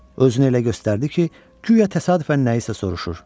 Özünü elə göstərdi ki, güya təsadüfən nəyisə soruşur.